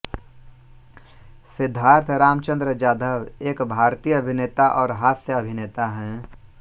सिद्धार्थ रामचंद्र जाधव एक भारतीय अभिनेता और हास्य अभिनेता हैं